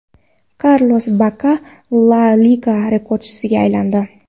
Karlos Bakka La Liga rekordchisiga aylandi.